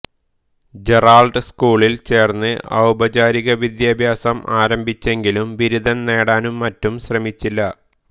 Gerald സ്കൂളിൽ ചേർന്ന് ഔപചാരിക വിദ്യാഭ്യാസം ആരംഭിച്ചെങ്കിലും ബിരുദം നേടാനും മറ്റും ശ്രമിച്ചില്ല